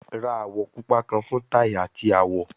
Ra awọ pupa kan fun tai ati awọ